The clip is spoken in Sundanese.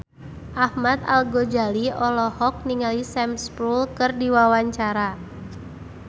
Ahmad Al-Ghazali olohok ningali Sam Spruell keur diwawancara